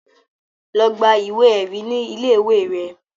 Lọ gba ìwé ẹ̀rí ní ilé ìwé rẹ